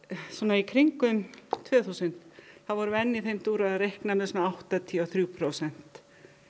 í kringum tvö þúsund þá vorum við enn í þeim dúr að reikna með svona áttatíu og þrjú prósent